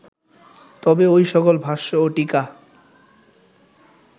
তবে ঐ সকল ভাষ্য ও টীকা